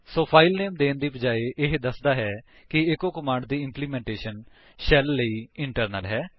ਸੋ file name ਦੇਣ ਦੀ ਬਜਾਏ ਇਹ ਦੱਸਦਾ ਹੈ ਕਿ ਈਚੋ ਕਮਾਂਡ ਦੀ ਇੰਪਲੀਮੈਂਟੇਸ਼ਨ ਸ਼ੈਲ ਲਈ ਇੰਟਰਨਲ ਹੈ